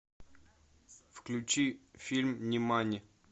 включи фильм нимани